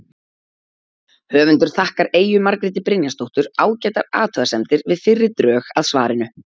Höfundur þakkar Eyju Margréti Brynjarsdóttur ágætar athugasemdir við fyrri drög að svarinu.